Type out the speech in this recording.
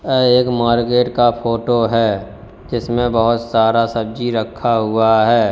यह एक मार्केट का फोटो है जिसमें बहुत सारा सब्जी रखा हुआ है।